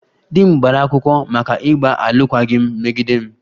Di m gbara akwụkwọ maka ịgba alụkwaghịm megide m